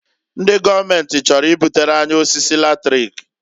Ndị gọọmenti chọrọ ibutere anyị osisi latrik.